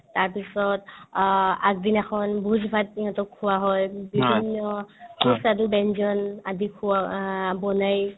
তাৰপিছত অ আগদিনাখন ভোজপাতি সিহঁতক খোৱা হয় পিছৰদিনাখন সুস্বাদু ব্যঞ্জন আদি খোৱাৱা আ বনাই